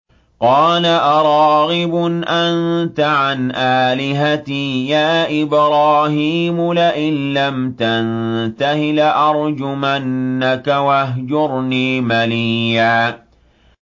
قَالَ أَرَاغِبٌ أَنتَ عَنْ آلِهَتِي يَا إِبْرَاهِيمُ ۖ لَئِن لَّمْ تَنتَهِ لَأَرْجُمَنَّكَ ۖ وَاهْجُرْنِي مَلِيًّا